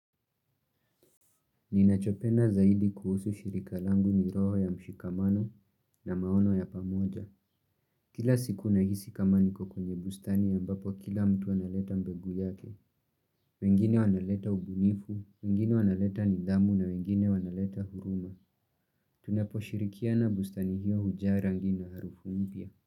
Ninachopenda zaidi kuhusu shirika langu ni roho ya mshikamano na maono ya pamoja. Kila siku nahisi kama niko kwenye bustani ya ambapo kila mtu analeta mbegu yake. Wengine wanaleta ubunifu, wengine wanaleta nidamu na wengine wanaleta huruma. Tunapo shirikia na bustani hiyo hujaa rangi na harufu mpya.